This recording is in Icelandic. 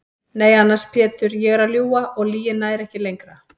Nei annars Pétur ég er að ljúga og lygin nær ekki lengra.